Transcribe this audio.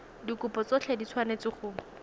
dikopo tsotlhe di tshwanetse go